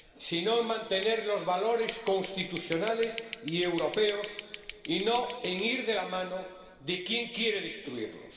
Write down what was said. sino en mantener los valores constitucionales y europeos y no en ir de la mano de quien quiere destruirlos.